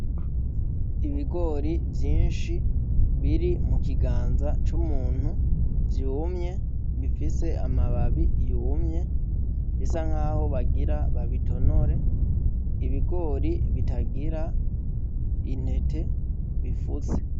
Ibigori vyinshi biri mu kiganza c'umuntu vyumye bifise amababi yumye bisa nkaho bagira babitonore, ibigori bitagira intete, bifutse.